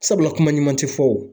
Sabula kuma ɲuman te fɔ wo.